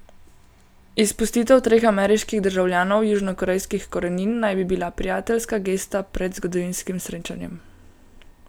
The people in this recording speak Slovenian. Izpustitev treh ameriških državljanov južnokorejskih korenin naj bi bila prijateljska gesta pred zgodovinskim srečanjem.